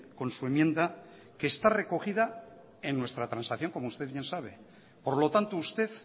con su enmienda que está recogida en nuestra transacción como usted bien sabe por lo tanto usted